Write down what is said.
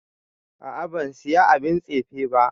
A'a ban Siya abin tsefe ba.